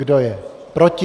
Kdo je proti?